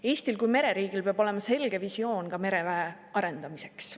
Eestil kui mereriigil peab olema selge visioon ka mereväe arendamiseks.